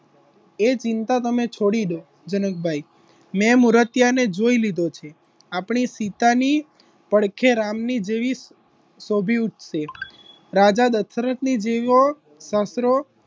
એ ચિંતા તમે છોડી દો જનકભાઈ મેં મૂર્તિ અને જોઈ લીધો છે આપણી સીતાની જેવી પડખે રામને શોભી ઉથસે રાજા દાસરથની જેવો સસરો,